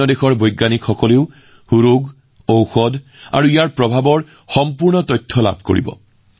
অন্য দেশৰ বিজ্ঞানীসকলেও এই ৰোগ ঔষধ আৰু ইয়াৰ প্ৰভাৱৰ বিষয়ে সম্পূৰ্ণ তথ্য লাভ কৰিব